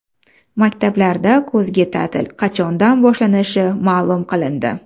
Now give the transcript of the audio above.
Maktablarda kuzgi ta’til qachondan boshlanishi ma’lum qilindi.